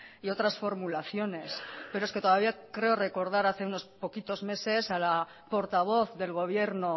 y otras formulaciones pero es que todavía creo recordar hace unos poquitos meses a la portavoz del gobierno